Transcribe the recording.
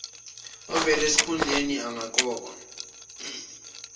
ovele esesikhundleni engaqokwa